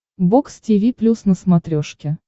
бокс тиви плюс на смотрешке